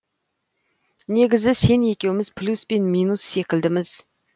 негізі сен екеуміз плюс пен минус секілдіміз